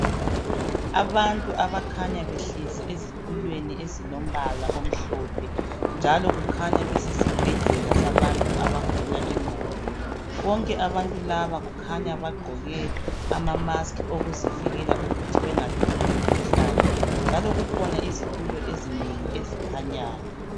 Abantu abakhanya behlezi ezitulweni ezilombala omhlophe. Njalo kukhanya besesibhedlela sabantu abagula ingqondo. Bonke abantu laba kukhanya bagqoke amamasks ukuzivikela ukuthi bangatholi umkhuhlane. Njalo kukhona izitulo ezinengi ezikhanyayo.